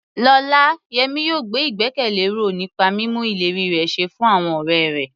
Lọ́la, Yemi yóò gbé ìgbẹ́kẹ̀lé ró nípa mímú ìlérí rẹ̀ ṣẹ fún àwọn ọ̀rẹ́ rẹ̀.